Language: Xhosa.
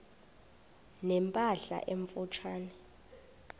ne mpahla emfutshane